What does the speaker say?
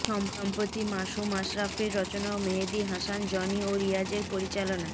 সম্প্রতি মাসুম আশরাফের রচনা ও মেহেদী হাসান জনি ও রিয়াজের পরিচালনায়